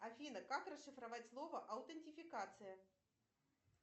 афина как расшифровать слово аутентификация